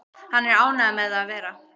Hann er ánægður með það að vera